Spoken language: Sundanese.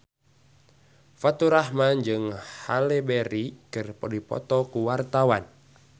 Faturrahman jeung Halle Berry keur dipoto ku wartawan